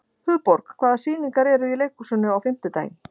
Hugborg, hvaða sýningar eru í leikhúsinu á fimmtudaginn?